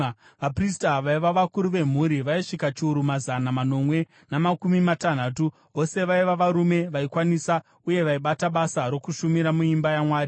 Vaprista, vaiva vakuru vemhuri, vaisvika chiuru namazana manomwe namakumi matanhatu. Vose vaiva varume vaikwanisa uye vaibata basa rokushumira muimba yaMwari.